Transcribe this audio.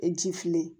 Ji fili